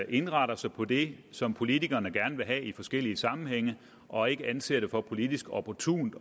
indretter sig på det som politikerne gerne vil have i forskellige sammenhænge og ikke anser det for politisk opportunt